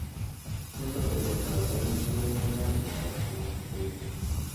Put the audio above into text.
tos atebtab emeet kounee kasiit ab somok beet